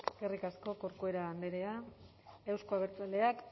eskerrik asko corcuera andrea euzko abertzaleak